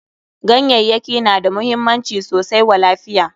Ganyayyaki na da muhimmanci sosai wa lafiya.